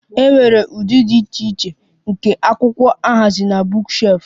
E nwere ụdị dị iche iche nke akwụkwọ a haziri na bookshelf